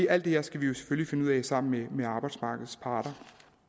alt det her skal vi jo selvfølgelig finde ud af sammen med arbejdsmarkedets parter